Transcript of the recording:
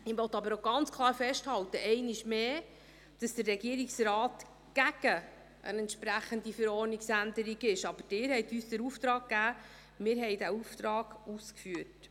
Ich möchte aber auch ganz klar festhalten – einmal mehr –, dass der Regierungsrat eine entsprechende Verordnungsänderung ist, aber Sie haben uns den Auftrag gegeben, und wir haben diesen Auftrag ausgeführt.